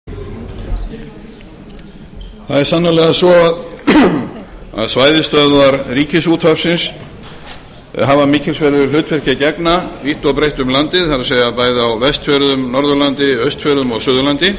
frú forseti það er sannarlega svo að svæðisstöðvar ríkisútvarpsins hafa mikilsverðu hlutverki að gegna vítt og breitt um landið það er bæði á vestfjörðum norðurlandi austfjörðum og suðurlandi